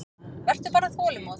Vertu bara þolinmóð.